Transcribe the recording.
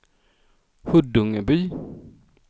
Huddungeby